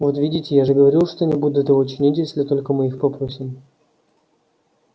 вот видите я же говорил что они будут его чинить если только мы их попросим